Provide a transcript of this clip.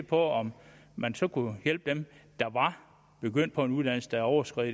på om man så kunne hjælpe dem der var begyndt på en uddannelse der overskred